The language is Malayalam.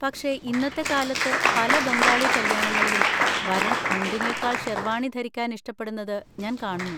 പക്ഷേ, ഇന്നത്തെ കാലത്ത്, പല ബംഗാളി കല്യാണങ്ങളിലും വരൻ മുണ്ടിനെക്കാൾ ഷെർവാണി ധരിക്കാൻ ഇഷ്ടപ്പെടുന്നത് ഞാൻ കാണുന്നു.